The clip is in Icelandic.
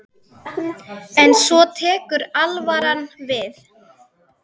En svo tekur alvaran við.